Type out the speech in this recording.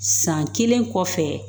San kelen kɔfɛ